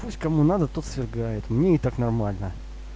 пусть кому надо тот свергает мне и так нормально